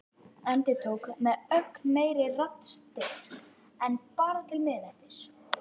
Og endurtók með ögn meiri raddstyrk: En bara til miðnættis.